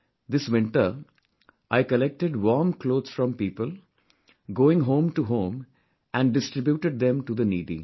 This winter, I collected warm clothes from people, going home to home and distributed them to the needy